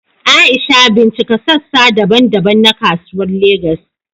Aisha, bincika sassa daban-daban na Kasuwar Legas.